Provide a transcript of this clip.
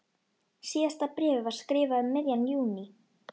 Síðasta bréfið var skrifað um miðjan júní.